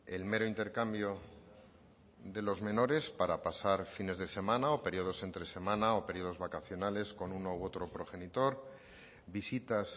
el mero intercambio de los menores para pasar fines de semana o periodos entre semana o periodos vacacionales con uno u otro progenitor visitas